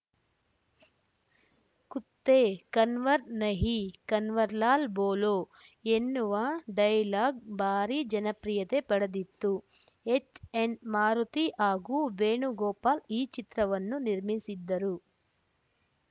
ಕುತ್ತೇ ಕನ್ವರ್‌ ನಹೀ ಕನ್ವರ್‌ಲಾಲ್‌ ಬೋಲೋ ಎನ್ನುವ ಡೈಲಾಗ್‌ ಭಾರಿ ಜನಪ್ರಿಯತೆ ಪಡೆದಿತ್ತು ಹೆಚ್‌ಎನ್‌ ಮಾರುತಿ ಹಾಗೂ ವೇಣುಗೋಪಾಲ್‌ ಈ ಚಿತ್ರವನ್ನು ನಿರ್ಮಿಸಿದ್ದರು